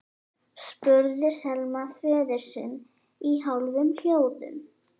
spurði Selma föður sinn í hálfum hljóðum.